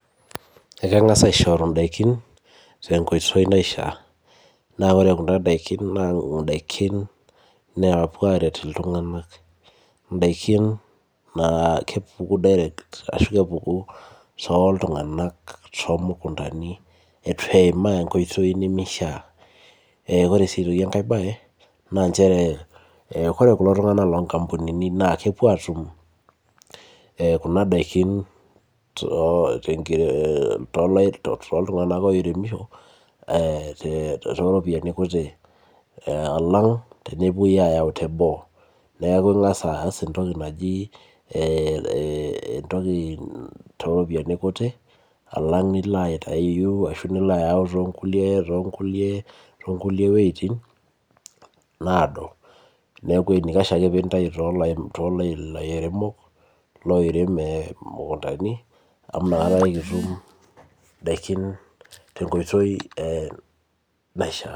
Ekangas aishoru daikin tenkoitoi naishaa, neeku ore daikin naa idaikin, naapuo aaret iltunganak. idaikiin naa kepuku direct ashu kepuku tooltunganak eitu eimaa enkoitoi nimishaa. ore sii aitoki enkae bae, naa nchere, ore kulo tunganak loo nkampunini naa kepuo aatum, Kuna daikin tooltunganak oiremisho. too ropiyiani kuti. alang tenepuoi aayau teboo. neeku ingas aas entoki naji ee entoki too ropiyiani kuti alanga nilo ayau too nkulie, wuejitin naado. neeku enaikash ake pee intayu toolairemok loitem imunkintani amu inakata kitum idaikin tenkoitoi naishaa.